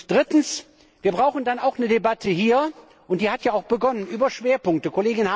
Drittens Wir brauchen dann auch hier eine Debatte und die hat ja auch begonnen über Schwerpunkte.